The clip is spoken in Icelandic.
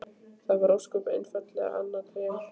Það var ósköp einfaldlega annað Tré!